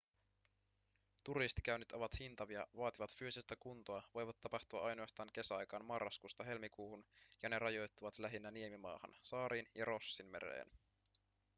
turistikäynnit ovat hintavia vaativat fyysistä kuntoa voivat tapahtua ainoastaan kesäaikaan marraskuusta helmikuuhun ja ne rajoittuvat lähinnä niemimaahan saariin ja rossinmereen